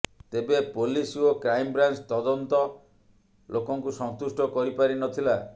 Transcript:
ତେବେ ପୋଲିସ ଓ କ୍ରାଇମବ୍ରାଞ୍ଚ ତଦନ୍ତ ଲୋକଙ୍କୁ ସନ୍ତୁଷ୍ଟ କରିପାରିନଥଲା